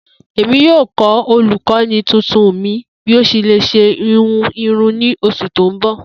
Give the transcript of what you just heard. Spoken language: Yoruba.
Emi yoo kọ olukọni tuntun mi bi o ṣe le ṣe ihun irun ni oṣu ti n bọ.